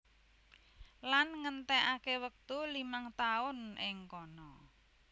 Lan ngentèkaké wektu limang taun ing kana